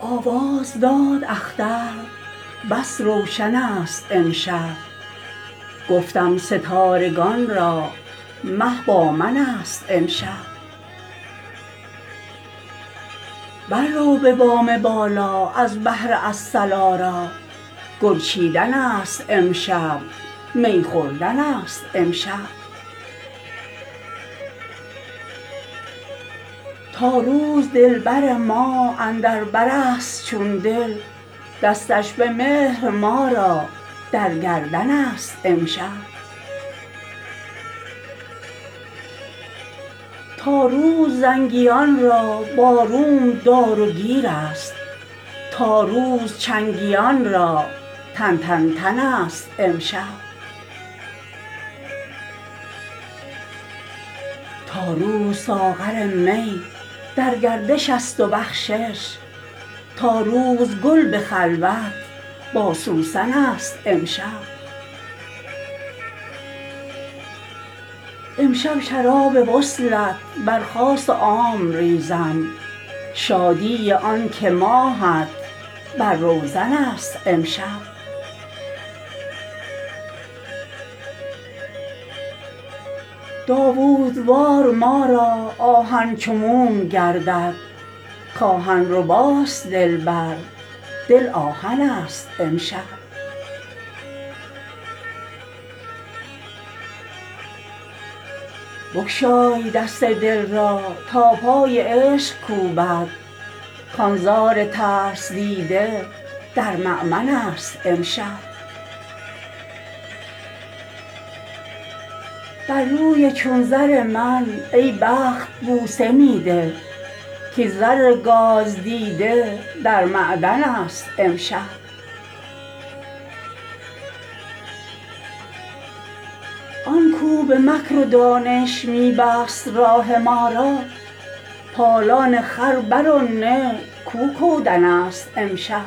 آواز داد اختر بس روشن ست امشب گفتم ستارگان را مه با منست امشب بررو به بام بالا از بهر الصلا را گل چیدن ست امشب می خوردن ست امشب تا روز دلبر ما اندر برست چون دل دستش به مهر ما را در گردن ست امشب تا روز زنگیان را با روم دار و گیرست تا روز چنگیان را تن تن تن ست امشب تا روز ساغر می در گردش است و بخشش تا روز گل به خلوت با سوسن ست امشب امشب شراب وصلت بر خاص و عام ریزم شادی آنکه ماهت بر روزن ست امشب داوود وار ما را آهن چو موم گردد که آهن رباست دلبر دل آهن ست امشب بگشای دست دل را تا پای عشق کوبد کان زار ترس دیده در مأمن ست امشب بر روی چون زر من ای بخت بوسه می ده کاین زر گاز دیده در معدن ست امشب آن کاو به مکر و دانش می بست راه ما را پالان خر بر او نه کاو کودن ست امشب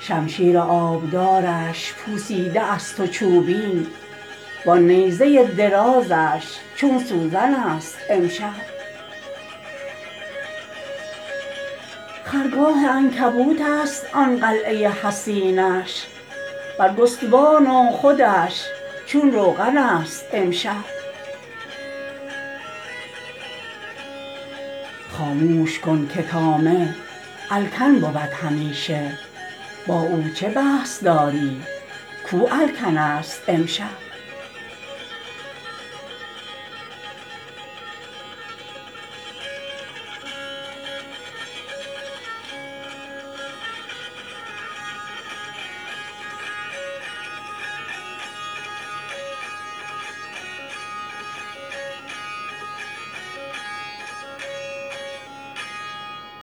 شمشیر آبدارش پوسیده است و چوبین وآن نیزه درازش چون سوزن ست امشب خرگاه عنکبوت است آن قلعه حصینش برگستوان و خودش چون روغن ست امشب خاموش کن که طامع الکن بود همیشه با او چه بحث داری کاو الکن ست امشب